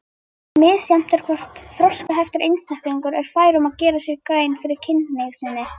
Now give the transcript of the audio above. Misjafnt er hvort þroskaheftur einstaklingur er fær um að gera sér grein fyrir kynhneigð sinni.